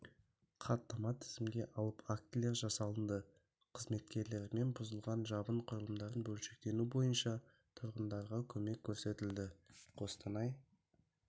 хаттама тізімге алып актілер жасалынды қызметкерлерімен бұзылған жабын құрылымдарын бөлшектену бойынша тұрғындарға көмек көрсетілді қостанай